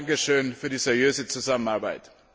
Dafür ein Dankeschön für die seriöse Zusammenarbeit.